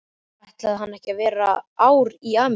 Ætlaði hann ekki að vera ár í Ameríku?